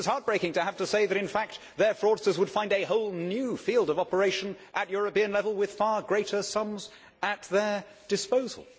It was heartbreaking to have to say that in fact their fraudsters would find a whole new field of operation at European level with far greater sums at their disposal.